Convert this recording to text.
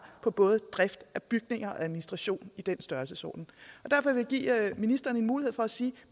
på både drift af bygninger og administration i den størrelsesorden derfor vil jeg give ministeren en mulighed for at sige